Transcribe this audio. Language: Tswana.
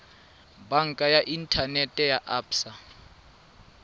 banka ya inthanete ya absa